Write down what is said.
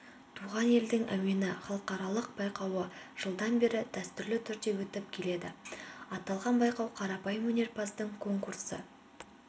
туған елдің әуені халықаралық байқауы жылдан бері дәстүрлі түрде өтіп келеді аталған байқау қарапайым өнерпаздардың конкурсы